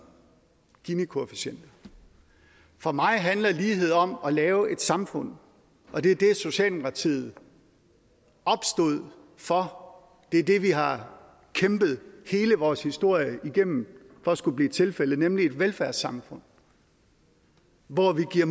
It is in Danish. ginikoefficienter for mig handler lighed om at lave et samfund og det er det socialdemokratiet opstod for det er det vi har kæmpet hele vores historie igennem for skulle blive tilfældet nemlig et velfærdssamfund hvor vi giver